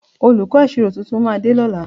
Olùkọ́ ìṣirò tuntun máa dé lọ́la